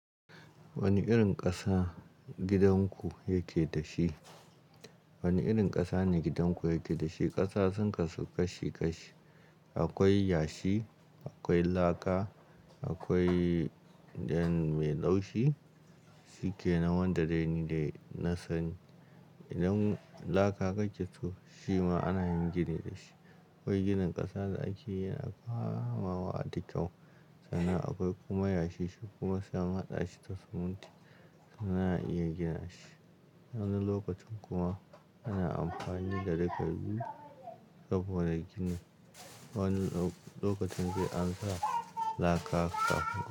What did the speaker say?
Wane irin ƙasa gidan ku yake da shi? Wane irin ƙasa ne gidan ku yake da shi? Ƙasa sun kasu kashi kashi, akwai yashi, akwai laka, akwai dain mai laushi suke nan wanda dai ni dau na sani. Idan laka ka ji shi ma ana yin gini da shi, akwai ginin ƙasa da ake yana kamawa da kyau sannan akwai kuma yashi shi kuma sai an haɗa shi da siminti sannan a iya gina shi. Wani lokacin kuma ana amfani da duka biyu saboda ginin. Wani lokacin sai an sa laka kafin.